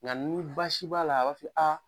Ŋa ni baasi b'a la a b'a fɔ